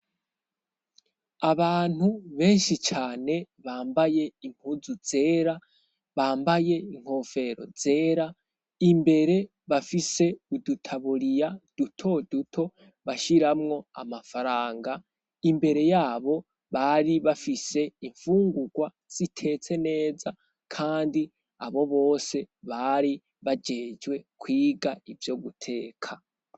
Abantu benshi cane bambaye impuzu zera bambaye inkofero zera imbere bafise udutaburiya duto duto bashiramwo amafaranga imbere yabo bari bafise imfungurwa sitetsenee meza, kandi abo bose bari bajejwe kwiga ivyo guteka.